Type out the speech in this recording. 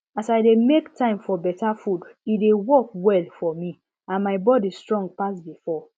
as i dey make time for better food e dey work well for me and my body strong pass before